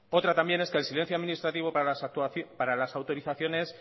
otra también es que el silencio administrativo para la autorizaciones